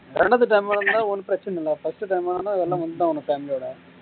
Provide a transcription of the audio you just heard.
ரெண்டாவது time ஆ இருந்தா ஒன்னும் பிரச்சனை இல்ல first time ஆ இருந்தா எல்லாரும் வந்துதான் ஆகணும் family ஓட